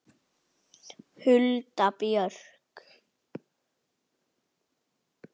Hulda Björk.